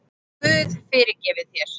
Guð fyrirgefi þér.